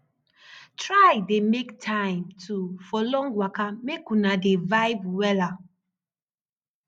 try dey mek time too for long waka mek una dey vibe wella